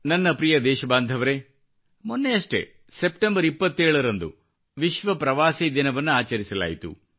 ನನ್ನ ಪ್ರಿಯ ದೇಶಬಾಂಧವರೇ ಮೊನ್ನೆಯಷ್ಟೇ 27 ಸೆಪ್ಟೆಂಬರ್ ದಂದು ವಿಶ್ವ ಪ್ರವಾಸಿ ದಿನವನ್ನು ಆಚರಿಸಲಾಯಿತು